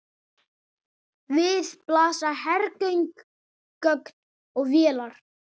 Við blasa hergögn og vélar.